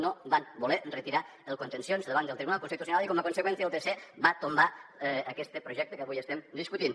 no van voler retirar el contenciós davant del tribunal constitucional i com a conseqüència el tc va tombar aquest projecte que avui estem discutint